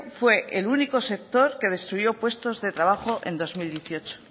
fue el único sector que destruyó puestos de trabajo en dos mil dieciocho